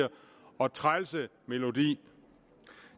og trælse melodi